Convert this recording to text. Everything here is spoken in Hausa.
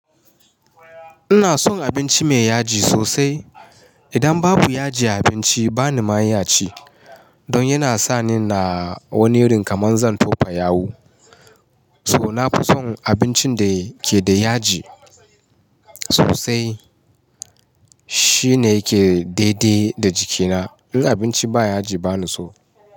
Ina son abinci mai yaji sosai. Idan babu yaji a abinci bani ma iya ci. Don yana sa ni ina wani irin kaman zan tofa yawu. So nafi son abincin da ke da yaji sosai. Shi ne yake daidaye da jikina. In abinci ba yaji bani so.